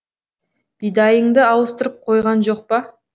бидайыңды ауыстырып қойған жоқ па